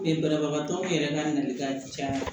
banabagatɔw yɛrɛ ka nali ka caya